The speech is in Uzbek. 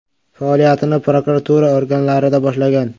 Faoliyatini prokuratura organlarida boshlagan.